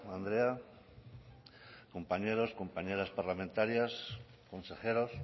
andrea compañeros compañeras parlamentarias consejeros